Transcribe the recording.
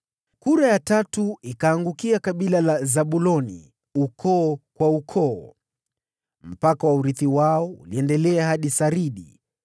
Kura ya tatu ikaangukia kabila la Zabuloni, ukoo kwa ukoo: Mpaka wa urithi wao uliendelea hadi Saridi.